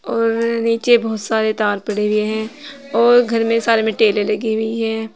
और नीचे बहोत सारे तार पड़े हुए हैं और घर में सारे मे टाइले लगी हुई है।